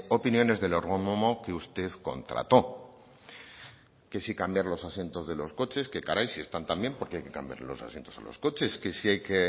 opiniones del ergónomo que usted contrató que si cambiar los asientos de coches qué caray si están tan bien porqué hay que cambiarle los asientos a los coches que si hay que